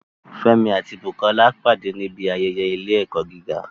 Fẹ́mi àti Bukola pàdé níbi ayẹyẹ ilé-ẹ̀kọ́ gíga